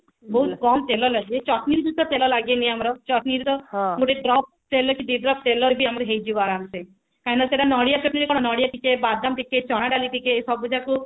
ବହୁତ କମ ତେଲ ଲାଗେ ଚକୁଳିରେ ବି ତେଲ ଲାଗେନି ଆମର ଚକୁଳିରେ ତ ଗୋଟେ drop ଦି drop ତେଲ ରେ ବି ଆମର ହେଇଯିବ ଆରମ ସେ କାହିଁକି ନା ସେଟା ନଡିଆ ଚଟଣି ରେ କଣ ନଡିଆ ଟିକେ ବାଦାମ ଟିକେ ଚଣା ଡାଲି ଟିକେ ସବୁ ଯାକୁ